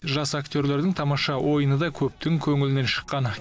жас актерлердің тамаша ойыны да көптің көңілінен шыққан